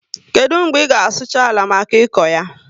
Kedu mgbe i ga sucha àlà maka ịkọ ya?